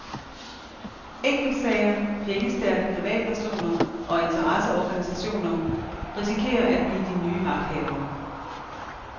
Enkeltsager, pengestærke privatpersoner og interesseorganisationer risikerer at blive de nye magthavere.